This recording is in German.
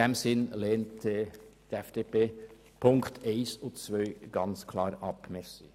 In diesem Sinne lehnt die FDP-Fraktion die Punkte 1 und 2 ganz klar ab.